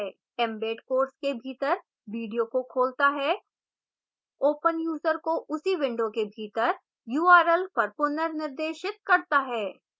embed course के भीतर video को खोलता है open यूजर को उसी विंडो के भीतर url पर पुनर्निर्देशित करता है